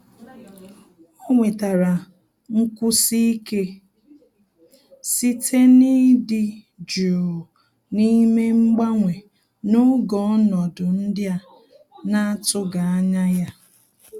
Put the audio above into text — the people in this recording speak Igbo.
Ọ́ nwètàrà nkwụsi ike site n’ị́dị́ jụụ na ímé mgbanwe n’ógè ọnọdụ ndị a nà-àtụ́ghị́ ányá ya.